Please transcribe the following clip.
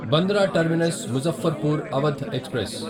Bandra terminus Muzaffarpur Awadh express